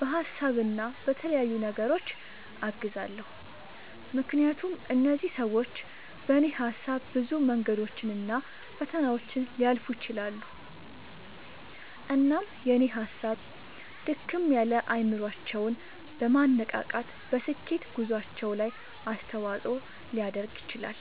በሀሳብ እና በተለያዩ ነገሮች አግዛለሁ። ምክንያቱም እነዚህ ሰዎች በኔ ሀሳብ ብዙ መንገዶችን እና ፈተናዎችን ሊያልፉ ይችላሉ። እናም የኔ ሀሳብ ድክም ያለ አይምሮአቸውን በማነቃቃት በስኬት ጉዞአቸው ላይ አስተዋጽኦ ሊያደርግ ይችላል።